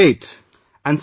Great ...